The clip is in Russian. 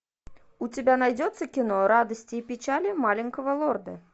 у тебя найдется кино радости и печали маленького лорда